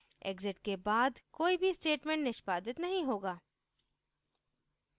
exit के बाद कोई भी statement निष्पादित नहीं होगा